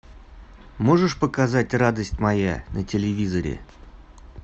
можешь показать радость моя на телевизоре